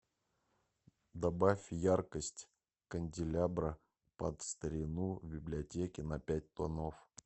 добавь яркость канделябра под старину в библиотеке на пять тонов